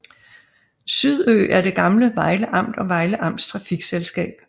SYDØ er det gamle Vejle Amt og Vejle Amts trafikselskab